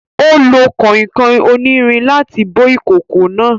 Ó lo kànkàn onírin láti bó ìkòkò náà